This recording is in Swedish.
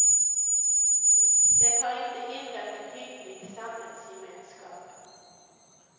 Det har inte hindrat en hygglig samhällsgemenskap.